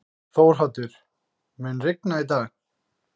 Þórhaddur, mun rigna í dag?